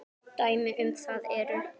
Dæmi um það eru